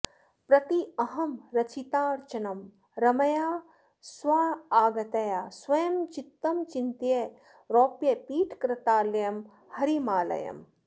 प्रत्यहम् रचितार्चनम् रमया स्वयागतया स्वयम् चित्त चिन्तय रौप्यपीठकृतालयम् हरिमालयम्